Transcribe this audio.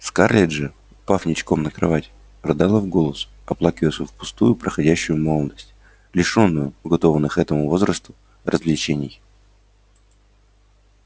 скарлетт же упав ничком на кровать рыдала в голос оплакивая свою впустую проходящую молодость лишённую уготованных этому возрасту развлечений